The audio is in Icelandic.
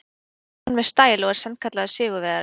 Það gerði hann með stæl og er sannkallaður sigurvegari.